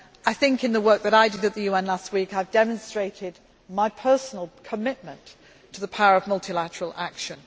on the UN. I think in the work that I did at the UN last week I have demonstrated my personal commitment to the power of multilateral